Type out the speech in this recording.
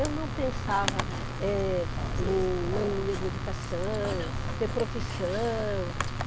Eu não pensava eh, em mania de educação, ter profissão.